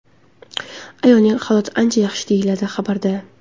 Ayolning holati ancha yaxshi”, – deyilgan xabarda.